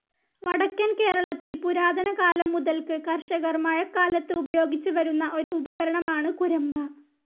വടക്കൻ കേരളത്തിൽ പുരാതന കാലം മുതൽക്ക് കർഷകർ മഴക്കാലത്ത് ഉപയോഗിച്ച് വരുന്ന ഒരുപകരണമാണ് കുരമ്പ.